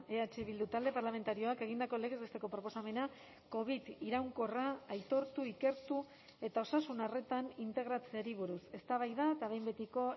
eh bildu talde parlamentarioak egindako legez besteko proposamena covid iraunkorra aitortu ikertu eta osasun arretan integratzeari buruz eztabaida eta behin betiko